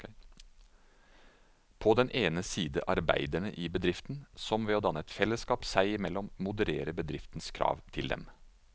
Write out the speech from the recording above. På den ene side arbeiderne i bedriften, som ved å danne et fellesskap seg imellom modererer bedriftens krav til dem.